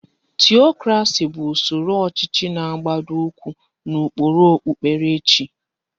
Tiyokrasị bụ usoro ọchịchị na-agbado ụkwụ n'ụkpụrụ okpupkerechi.